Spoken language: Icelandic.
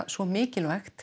svo mikilvægt